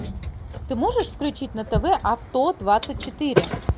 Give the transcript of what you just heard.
ты можешь включить на тв авто двадцать четыре